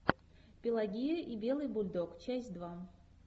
пелагея и белый бульдог часть два